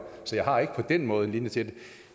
så jeg har ikke på den måde en linje til